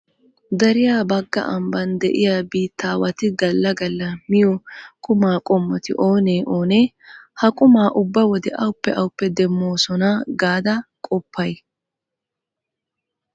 Dariya bagga ambban de'iya biittaawati galla galla miyo qumaa qommoti oonee oonee? Ha qumaa ubba wode awappe awappe demmoosona gaada qoppay?